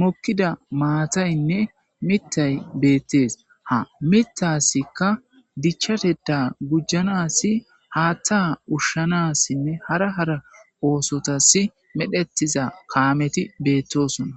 mokkida maataynne mittay beettees ha mitasikka dichateda gujjanassi haattaa ushshanassinne hara hara oosotasi medhetiza kaameti beettosona